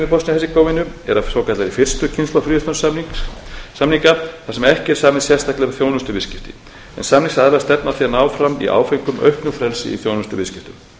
hersegóvínu er af svokallaðri fyrstu kynslóð fríverslunarsamninga þar sem ekki er samið sérstaklega um þjónustuviðskipti en samningsaðilarnir stefna að því að ná fram í áföngum auknu frelsi fyrir þjónustuviðskipti